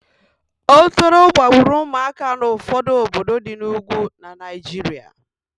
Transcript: Otoro gbagburu ụmụaka n'ụfọdụ obodo di n'Ugwu na Naịjiria